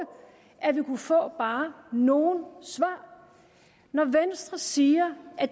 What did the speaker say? at vi kunne få bare nogle svar når venstre siger at